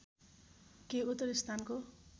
केही उत्तरी स्थानको